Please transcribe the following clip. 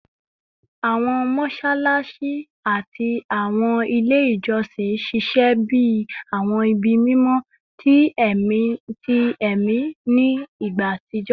Awọn mọṣalaṣi ati awọn ile ijọsin ṣiṣẹ bi awọn ibi mimọ ti ẹmi ni igba atijọ